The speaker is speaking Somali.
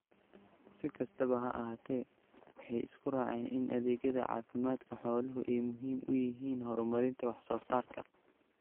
Si kastaba ha ahaatee, waxay isku raaceen in adeegyada caafimaadka xooluhu ay muhiim u yihiin horumarinta wax soo saarka.